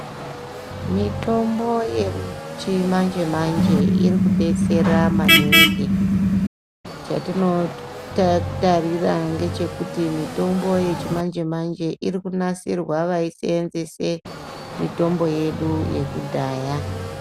Mitombo yechimanje manje iri kubetsera maningi chatinotarira ngechekuti mitombo yechimanje manje iri kunasirwa vaisenzesa mitombo yedu yekudhaya.